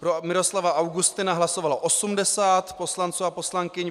Pro Miroslava Augustina hlasovalo 80 poslanců a poslankyň.